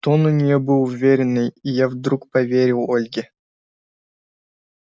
тон у неё был уверенный и я вдруг поверил ольге